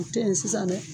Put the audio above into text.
O tɛ yen sisan dɛ